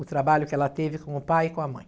O trabalho que ela teve com o pai e com a mãe.